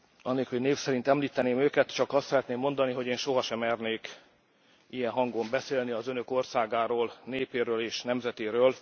Anélkül, hogy név szerint említeném őket, csak azt szeretném mondani, hogy én sohase mernék ilyen hangon beszélni az Önök országáról, népéről és nemzetéről.